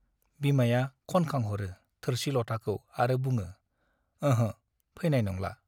बिमाया ख'नखां हरो थोरसि - लथाखौ आरो बुङो , अह' , फैनाय नंला ।